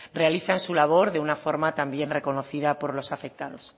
realizan su labor de una forma también reconocida por los afectados